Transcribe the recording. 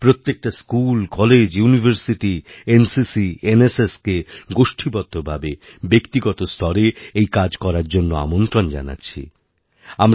প্রত্যেকটা school college university NCC এনএসএসকে গোষ্ঠীবদ্ধভাবে ব্যক্তিগত স্তরে এই কাজ করার জন্য আমন্ত্রণ জানাচ্ছি আপনাদের